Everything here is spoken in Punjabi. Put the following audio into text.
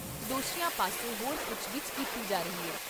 ਦੋਸ਼ੀਆਂ ਪਾਸੋਂ ਹੋਰ ਪੁੱਛਗਿੱਛ ਕੀਤੀ ਜਾ ਰਹੀ ਏ।